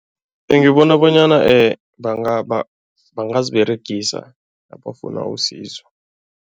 Ngibona bonyana bangaziberegisa nabafuna usizo.